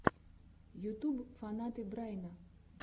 ютуб фанаты брайна